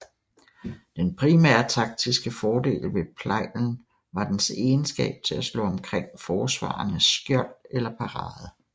Den primære taktiske fordel ved plejlen var dens egenskab til at slå omkring forsvarerens skjold eller parade